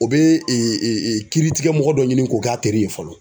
U be e e kiiri tigɛ mɔgɔ dɔ ɲini k'o k'a teri ye fɔlɔ